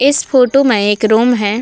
इस फोटो में एक रूम है।